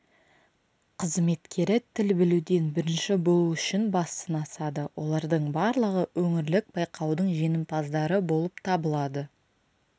қызметкері тіл білуден бірінші болу үшін бас сынасады олардың барлығы өңірлік байқаудың жеңімпаздары болып табылады